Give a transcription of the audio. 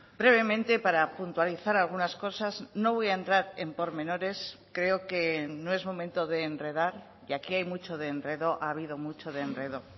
brevemente para puntualizar algunas cosas no voy a entrar en pormenores creo que no es momento de enredar y aquí hay mucho de enredo ha habido mucho de enredo